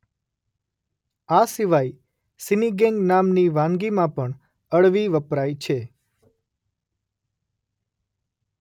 આ સિવાય સિનિગેન્ગ નામની વાનગીમાં પણ અળવી વપરાય છે.